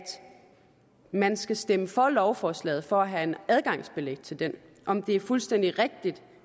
man skal stemme for lovforslaget for at have en adgangsbillet til den evaluering om det er fuldstændig rigtigt